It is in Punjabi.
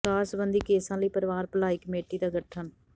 ਦਾਜ ਸਬੰਧੀ ਕੇਸਾਂ ਲਈ ਪਰਿਵਾਰ ਭਲਾਈ ਕਮੇਟੀ ਦਾ ਗਠਨ